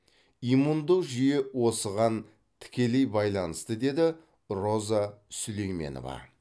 иммундық жүйе осыған тікелей байланысты деді роза сүлейменова